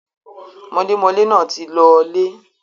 mọlémọlé náà ti lọọlè.